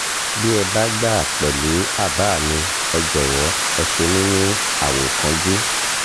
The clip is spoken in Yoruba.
bí ẹ bá gbà pẹ̀lú àbá mi ẹ jọ̀wọ́ ẹ ṣe mí ní àwòkọ́njú